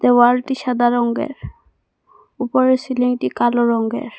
ওয়ালটি সাদা রঙ্গের উপরের সিলিংটি কালো রঙ্গের ।